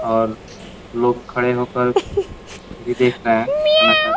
और लोग खड़े होकर टीवी देख रहे हैं। खाना खा रहे हैं |